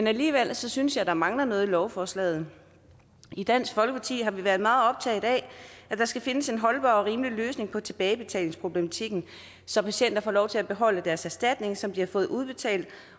alligevel synes jeg der mangler noget i lovforslaget i dansk folkeparti har vi været meget optaget af at der skal findes en holdbar og rimelig løsning på tilbagebetalingsproblematikken så patienter får lov til at beholde deres erstatning som de har fået udbetalt